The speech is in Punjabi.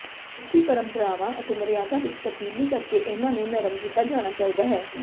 ਸਿੱਖੀ ਪਰੰਪਰਾਵਾਂ ਤੇ ਮਰਿਆਦਾ ਵਿੱਚ ਤਬਦੀਲੀ ਕਰਕੇ ਇਹਨਾਂ ਨੂੰ ਨਰਮ ਕੀਤਾ ਜਾਣਾ ਚਾਹੀਦਾ ਹੈ